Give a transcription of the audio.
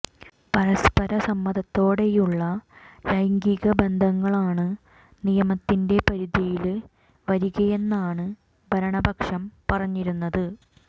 പരസ്പര സമ്മതത്തോടെയുള്ള ലൈംഗിക ബന്ധങ്ങളാണ് നിയമത്തിന്റെ പരിധിയില് വരികയെന്നാണ് ഭരണപക്ഷം പറഞ്ഞിരുന്നത്